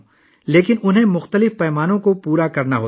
لیکن انہیں بہت سے معیارات پورے کرنے ہوں گے